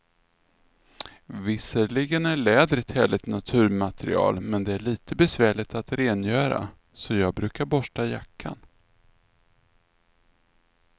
Visserligen är läder ett härligt naturmaterial, men det är lite besvärligt att rengöra, så jag brukar borsta jackan.